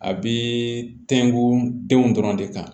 A bɛ tɛnku denw dɔrɔn de kan